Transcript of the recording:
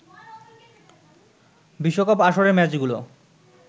বিশ্বকাপ আসরের ম্যাচগুলো